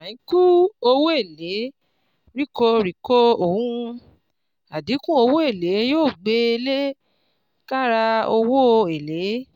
Àínkù owó èlé ríkọ ríkọ ọ̀n: Àdínkù owó èlé yóò gbẹ lẹ káàrà owó èlé.